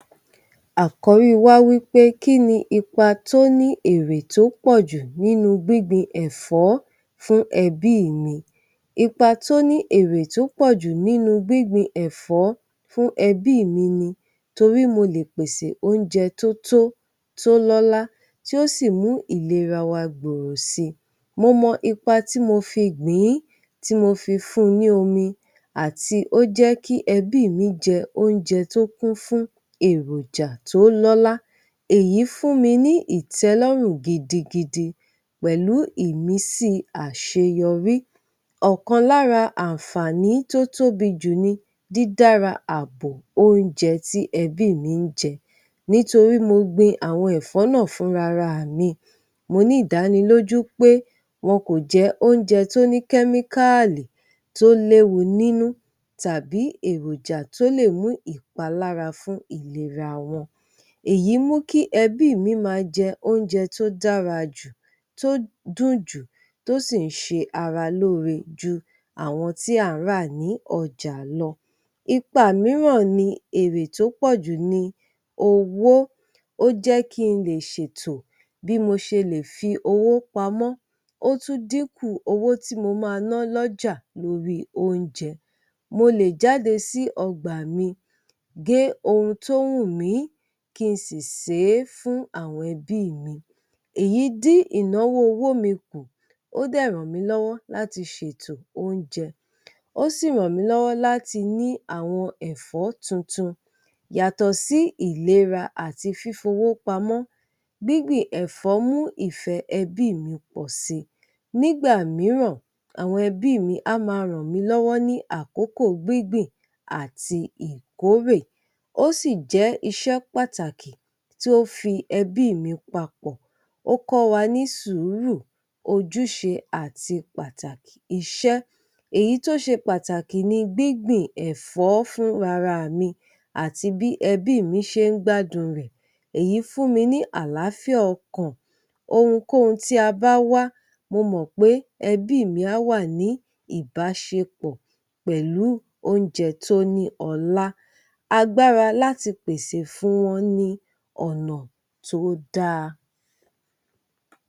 Àkọ́rí wa wí pé kí ni ipa tó ní èrè tó pọ̀ jù nínú gbígbin ẹ̀fọ́ fún ẹbí mi. Ipa tó ní èrè tó pọ̀ jù nínú gbígbin ẹ̀fọ́ fún ẹbí mi ni; torí mo lè pèsè oúnjẹ tó tó, tó lọ́la, tí ó sì mú ìlera wa gbòòrò si. Mo mọ ipa tí mo fi gbìn-ín, tí mo fi fún-un ní omi àti ó jẹ́ kí ẹbí mi jẹ oúnjẹ tó kún fún èròjà tó lọ́lá. Èyí fún mi ní ìtẹ́lọ́rùn gidigidi pẹ̀lú ìmísí àṣeyọrí. Ọ̀kan lára àǹfààní tó tóbi jù ni dídára ààbo oúnjẹ tí ẹbí mi ń jẹ nítorí mo gbin àwọn ẹ̀fọ́ náà fúnra ra mi. Mo ní ìdánilójú pé wọn kò jẹ oúnjẹ tó ní kẹ́míkáàlì tó léwu nínú, tàbí èròjà tó lè mú ìpalára fún ìlera wọn. Èyí mú kí ẹbí mi máa jẹ oúnjẹ tó dára jù, tó dùn jù, tó sì ń ṣe ara lóore ju àwọn tí a ń rà ní ọjà lọ Ipa mìíràn ni èrè tó pọ̀ jù ni owó, ó jẹ́ kí n lè ṣètò bí mo ṣe lè fi owó pamọ́, ó tún dínkù owó tí mo máa ná lọ́jà lórí oúnjẹ. Mo lè jáde sí ọgbà mi gé ohun tó wùnmí, kí n sì sè é fún àwọn ẹbí mi. Èyí dín ìnáwó ọwọ́ mi kù, ó dẹ̀ ràn mí lọ́wọ́ láti ṣètò oúnjẹ, ó sì ràn mí lọ́wọ́ láti ní àwọn ẹ̀fọ́ tuntun. Yàtọ̀ sí ìlera àti fífowó pamọ́, gbígbìn ẹ̀fọ́ mú ìfẹ́ ẹbí mi pọ̀ si. Nígbà mìíràn, àwọn ẹbí mi a máa ràn mí lọ́wọ́ ní àkókò gbígbìn àti ìkórè. Ó sì jẹ́ iṣẹ́ pàtàkì tó fi ẹbí mi papọ̀. Ó kọ́ wa ní sùúrù, ojúṣe àti pàtàkì iṣẹ́. Èyí tó ṣe pàtàkì ni gbígbìn ẹ̀fọ́ fúnra ra mi àti bí ẹbí mi ṣe ń gbádùn rẹ̀. Èyí fún mi ní àlàáfíà ọkàn. Ohunkóhun tí a bá wá, mo mọ̀ pé ẹbí mi á wà ní ìbáṣepọ̀ pẹ̀lú oúnjẹ tó ní ọlá. Agbára láti pèsè fún wọn ni ọ̀nà tó dáa.